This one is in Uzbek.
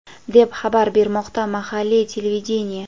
deb xabar bermoqda mahalliy televideniye.